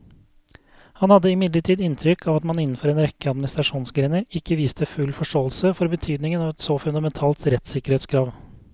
Han hadde imidlertid inntrykk av at man innenfor en rekke administrasjonsgrener ikke viste full forståelse for betydningen av et så fundamentalt rettssikkerhetskrav.